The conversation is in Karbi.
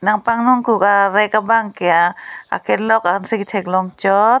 nang panung kuk arek abang ke akelok ansi katheklong chot.